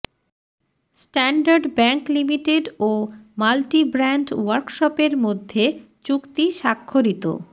standard Bank Limited ও multibrand ওয়ার্কশপের মধ্যে চুক্তি স্বাক্ষরিত